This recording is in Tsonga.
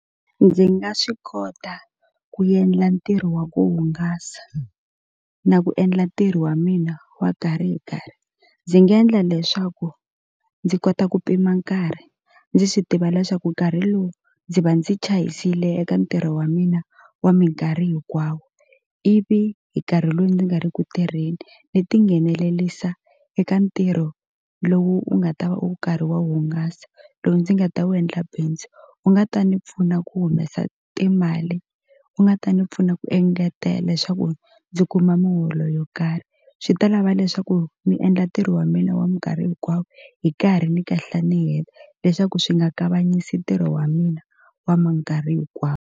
Ndzi nga swi kota ku endla ntirho wa ku hungasa na ku endla ntirho wa mina wa nkarhi hi nkarhi ndzi nga endla leswaku ndzi kota ku pima nkarhi ndzi swi tiva leswaku nkarhi lowu ndzi va ndzi chayisile eka ntirho wa mina wa minkarhi hinkwawo ivi hi nkarhi lowu ndzi nga ri ku tirheni ni tinghenelelisa eka ntirho lowu u nga ta va u karhi wa hungasa lowu ndzi nga ta wu endla bindzu wu nga ta ni pfuna ku humesa timali wu nga ta ni pfuna ku engetela leswaku ndzi kuma muholo yo karhi swi ta lava leswaku mi endla ntirho wa mina wa minkarhi hinkwawo hi karhi ni kahla ni heta leswaku swi nga kavanyisi ntirho wa mina wa minkarhi .